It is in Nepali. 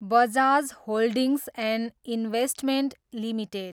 Bajaj holdings and investment limited